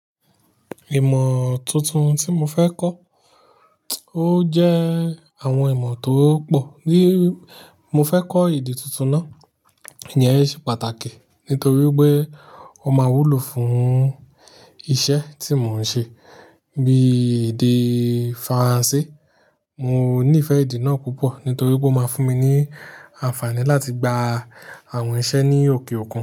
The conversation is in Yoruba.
Ìmọ̀ tuntun tí mo fẹ́ kọ́, o jẹ àwọn ìmọ̀ tó pọ̀. Mo fẹ́ kọ́ èdè tuntun náà, ìyẹn ṣe pàtàkì nítorí pé ó máa wúlò fún isẹ́ tí mò ń ṣe. Bí èdè Faransé, mo nífẹ̀ẹ́ èdè náà púpọ̀ nítorí pé ó máa fún mi ní àǹfààní láti gba àwọn iṣẹ́ ní òkè òkun.